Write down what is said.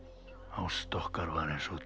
ást okkar var eins og